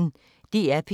DR P1